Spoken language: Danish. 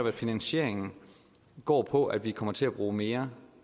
at finansieringen går på at vi kommer til at bruge mere